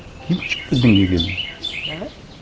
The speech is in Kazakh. кейін дінге келдім да